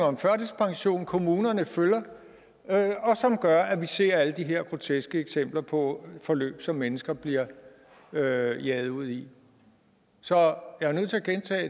om førtidspension kommunerne følger og som gør at vi ser alle de her groteske eksempler på forløb som mennesker bliver jaget jaget ud i så